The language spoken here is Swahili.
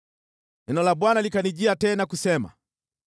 Neno la Bwana likanijia tena kusema: